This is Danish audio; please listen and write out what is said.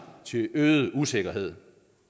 til øget usikkerhed